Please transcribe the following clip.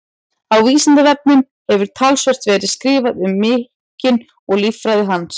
Á Vísindavefnum hefur talsvert verið skrifað um minkinn og líffræði hans.